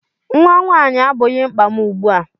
Nnwa nwaanyị abụghị mkpa m ugbu a.